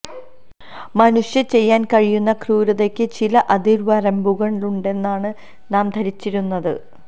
മനുഷ്യന് ചെയ്യാൻ കഴിയുന്ന ക്രൂരതയ്ക്ക് ചില അതിർ വരമ്പുകളുണ്ടെന്നാണ് നാം ധരിച്ചിരുന്നത്